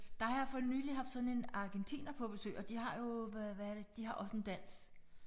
Der har jeg fornylig haft sådan en argentiner på besøg og de har jo hvad er det de har også en dans